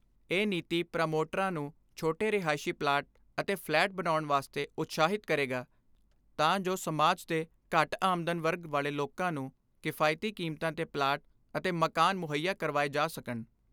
ਇਹ ਨੀਤੀ ਪ੍ਰਮੋਟਰਾਂ ਨੂੰ ਛੋਟੇ ਰਿਹਾਇਸ਼ੀ ਪਲਾਟ ਅਤੇ ਫਲੈਟ ਬਣਾਉਣ ਵਾਸਤੇ ਉਤਸ਼ਾਹਿਤ ਕਰੇਗਾ ਤਾਂ ਜੋ ਸਮਾਜ ਦੇ ਘੱਟ ਆਮਦਨ ਵਰਗ ਵਾਲੇ ਲੋਕਾਂ ਨੂੰ ਕਿਫਾਇਤੀ ਕੀਮਤਾਂ ਤੇ ਪਲਾਟ ਅਤੇ ਮਕਾਨ ਮੁਹੱਈਆ ਕਰਵਾਏ ਜਾ ਸਕਣ।